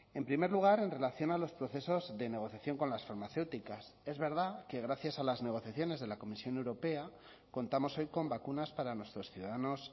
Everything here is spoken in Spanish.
en primer lugar en relación a los procesos de negociación con las farmacéuticas es verdad que gracias a las negociaciones de la comisión europea contamos hoy con vacunas para nuestros ciudadanos